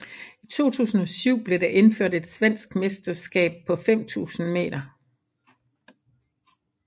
I 2007 blev der indført et svensk mesterskab på 5000 m